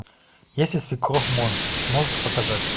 если свекровь монстр можешь показать